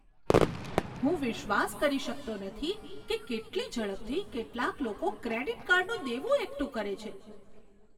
હું વિશ્વાસ કરી શકતો નથી કે કેટલી ઝડપથી કેટલાક લોકો ક્રેડિટ કાર્ડનું દેવું એકઠું કરે છે.